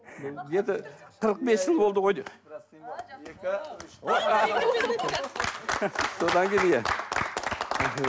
енді қырық бес жыл болды ғой